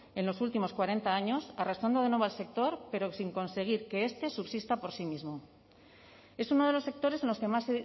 en los últimos cuarenta años arrastrando de nuevo al sector pero sin conseguir que este subsista por sí mismo es uno de los sectores en los que más